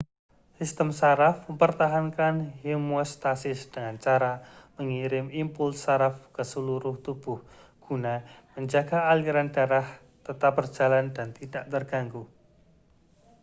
sistem saraf mempertahankan homeostasis dengan cara mengirim impuls saraf ke seluruh tubuh guna menjaga aliran darah tetap berjalan dan tidak terganggu